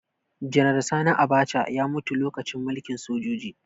Janar Sani Abacha ya mutu lokacin mulkin sojoji